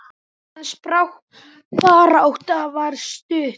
Hans barátta var stutt.